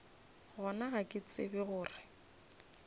gona ga ke tsebe gore